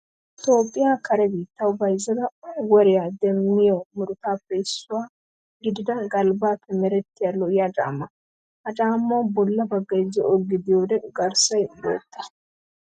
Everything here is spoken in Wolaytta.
Toophphiyaa kare biittawu bayizzada woriyaa demmiyo murutaatuppe issuwaa gidida galbbappe merettida lo''iyaa caammaa. Ha caammawu bolla baggayi zo''o gidiyoode garssayi bootta.